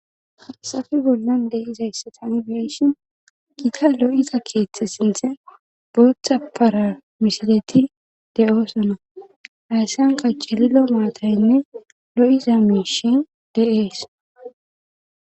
hasafe bollan de izayssatani beeshin giita lo7iza keeththe sinthe booththa paramisileti de7oosona hayssan qaccililo maataynne lo7iza mishin de7ees